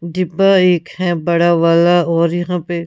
डिब्बा एक है बड़ा वाला और यहां पे--